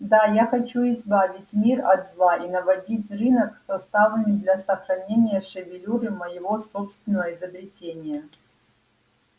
да я хочу избавить мир от зла и наводить рынок составами для сохранения шевелюры моего собственного изобретения